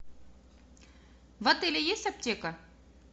в отеле есть аптека